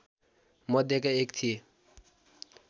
मध्येका एक थिए